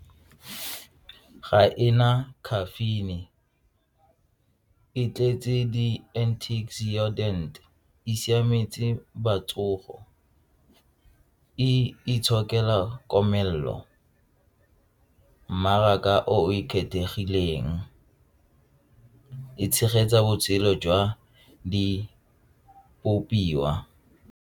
Ga e na caffeine, e tletse di antioxidant e siametse batsofe, e itshokela komelelo, mmaraka o ikgethegileng, e tshegetsa botshelo jwa di .